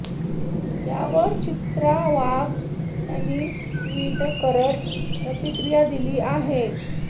त्यावर चित्रा वाघ यांनी ट्वीट करत प्रतिक्रिया दिली आहे